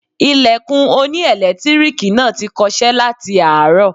Ilẹ̀kùn oní ẹ̀lẹ́tíríìkì náà ti kọṣẹ́ láti àárọ̀.